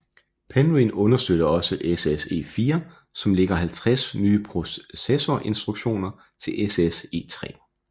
Penryn understøtter også SSE4 som lægger 50 nye processorinstruktioner til SSE3